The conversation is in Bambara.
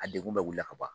A degun bɛ wuli ka ban